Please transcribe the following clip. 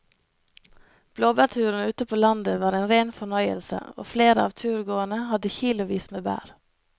Blåbærturen ute på landet var en rein fornøyelse og flere av turgåerene hadde kilosvis med bær.